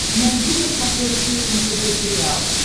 найди на смотрешке нтв сериал